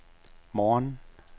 morgen